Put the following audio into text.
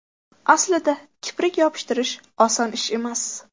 Aslida kiprik yopishtirish oson ish emas.